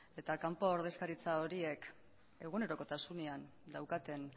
eta kanpo ordezkaritza horiek egunerokotasunean daukaten